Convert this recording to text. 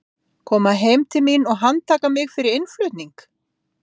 Koma heim til mín og handtaka mig fyrir innflutning?